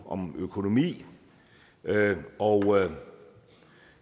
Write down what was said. om økonomi og